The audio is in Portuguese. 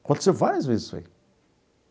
Aconteceu várias vezes isso aí.